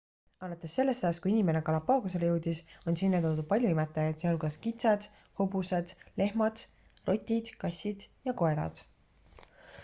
alates sellest ajast kui inimene galapagosele jõudis on sinna toodud palju imetajaid sh kitsed hobused lehmad rotid kassid ja koerad